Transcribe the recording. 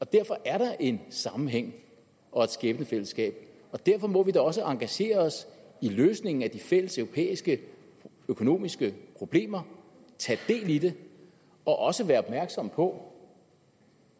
derfor er der en sammenhæng og et skæbnefællesskab og derfor må vi da også engagere os i løsningen af de fælles europæiske økonomiske problemer og tage del i det og også være opmærksomme på